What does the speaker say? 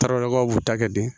Taralaw ka b'u ta kɛ bi